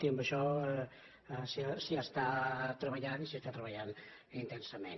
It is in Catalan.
i en això s’hi està treballant i s’hi està treballant intensament